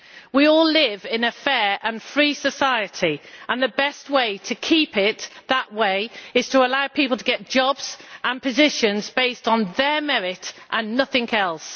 We all live in a fair and free society and the best way to keep it that way is to allow people to get jobs and positions based on their merit and nothing else.